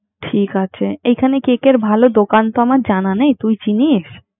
ঠিক আছে এখানে কেকেরে তো দোকান আমার জানা নেই, তুই চিনিস?